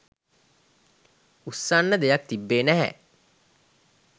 උස්සන්න දෙයක් තිබ්බේ නැහැ.